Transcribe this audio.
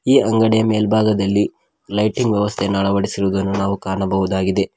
ಈ ಅಂಗಡಿ ಮೇಲ್ಭಾಗದಲ್ಲಿ ಲೈಟಿಂಗ್ ವ್ಯವಸ್ಥೆಯನ್ನು ಅಳವಡಿಸಿರುವುದನ್ನು ನಾವು ಕಾಣಬಹುದಾಗಿದೆ.